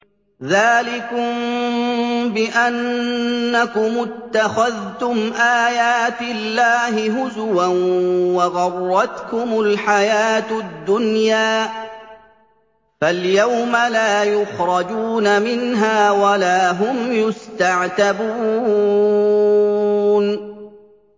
ذَٰلِكُم بِأَنَّكُمُ اتَّخَذْتُمْ آيَاتِ اللَّهِ هُزُوًا وَغَرَّتْكُمُ الْحَيَاةُ الدُّنْيَا ۚ فَالْيَوْمَ لَا يُخْرَجُونَ مِنْهَا وَلَا هُمْ يُسْتَعْتَبُونَ